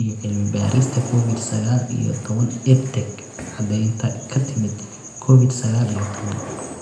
iyo cilmi-baarista Covid sagaal iyo tobbaan EdTech Caddeynta ka timid Covid sagaal iyo tobbaan